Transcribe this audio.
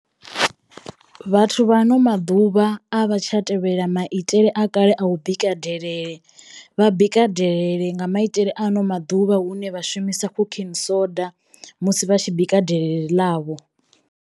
Vhathu vha ano maḓuvha a vha tsha tevhela maitele a kale a u bika delele vha bika delelele nga maitele a ano maḓuvha hune vha shumisa khukhini soda musi vha tshi bika delelele ḽavho.